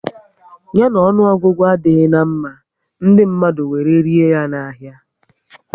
Ya na ọnụọgụgụ adịghị na mma, ndị mmadụ were rie ya na ahia